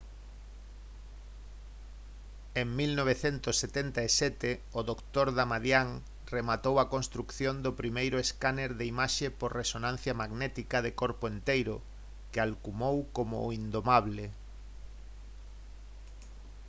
en 1977 o dr. damadian rematou a construción do primeiro escáner de imaxe por resonancia magnética de «corpo enteiro» que alcumou como o «indomable»